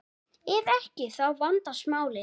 Ef ekki, þá vandast málin.